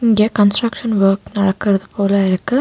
இங்க construction work நடக்கறது போல இருக்கு.